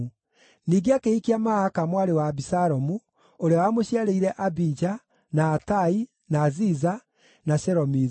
Ningĩ akĩhikia Maaka mwarĩ wa Abisalomu, ũrĩa wamũciarĩire Abija, na Atai, na Ziza na Shelomithu.